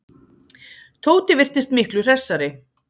Tóti virtist miklu hressari.